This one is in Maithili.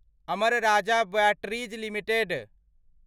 Amar Raja batteries limited